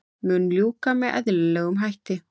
Mun ljúka með eðlilegum hætti